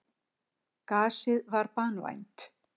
Gasið var banvænt.